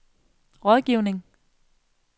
rådgivning